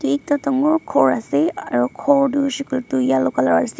bi ekta dangor khor ase aro khor tu hoishey koilae tu yellow colour ase.